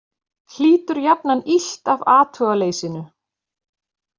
Hlýtur jafnan illt af athugaleysinu.